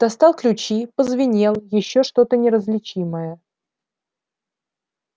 достал ключи позвенел ещё что-то неразличимое